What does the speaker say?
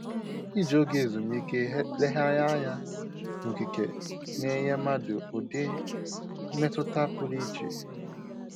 Iji oge ezumike legharịanya n'okike na-enye mmadụ ụdị mmetụta pụrụ iche